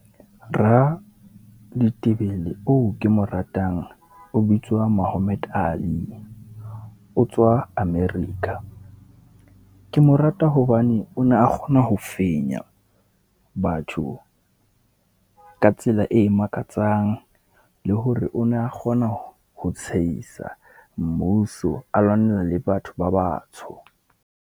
Raditebele oo ke mo ratang o bitswa Mohammed Ali. O tswa America, ke mo rata hobane o ne a kgona ho fenya batho ka tsela e makatsang. Le hore o ne a kgona ho tshehisa mmuso, a lwanela le batho ba batsho.